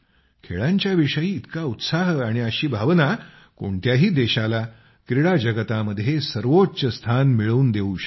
खेळांच्या विषयी इतका उत्साह अशी भावना कोणत्याही देशाला क्रीडा जगतामध्ये सर्वोच्च स्थान मिळवून देवू शकते